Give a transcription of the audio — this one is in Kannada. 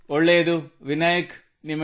ಹಾಗಿದ್ದಲ್ಲಿ ನೀವು ಅದೃಷ್ಟವಂತರು ಸೋ ಯೂ ಅರೆ ಲಕ್ಕಿ